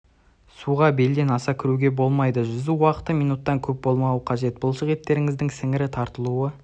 суға белден аса кіруге болмайды жүзу уақыты минуттан көп болмауы қажет бұлшық еттеріңіздің сіңірі тартылуы